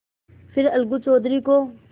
फिर अलगू चौधरी को